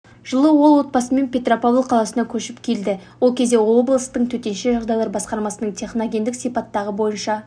жылы ол отбасымен петропавл қаласына көшіп келді ол кезде облыстың төтенше жағдайлар басқармасына техногендік сипаттағы бойынша